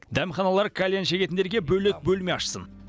дәмханалар кальян шегетіндерге бөлек бөлме ашсын